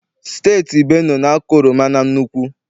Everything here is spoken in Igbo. Steeti Benue na-akọ oroma na nnukwu.